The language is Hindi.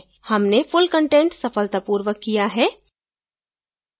हमने full content सफलतापूर्वक किया है